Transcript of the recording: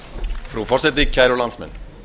frú forseti kæru landsmenn